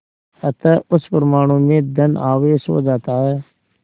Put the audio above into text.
अतः उस परमाणु में धन आवेश हो जाता है